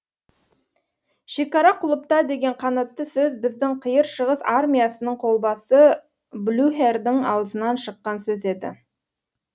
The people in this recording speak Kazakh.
шекара құлыпта деген қанатты сөз біздің қиыр шығыс армиясының колбасы блюхердің аузынан шыққан сөз еді